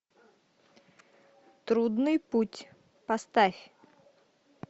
трудный путь поставь